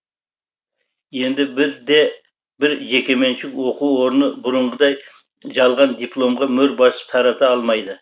енді бір де бір жекеменшік оқу орны бұрынғыдай жалған дипломға мөр басып тарата алмайды